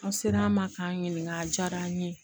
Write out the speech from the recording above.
An sera an ma k'an ɲininka a diyara an ye